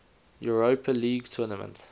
europa league tournament